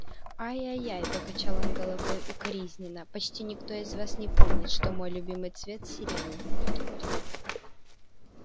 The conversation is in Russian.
ай-яй-яй покачал он головой укоризненно почти никто из вас не помнит что мой любимый цвет сиреневый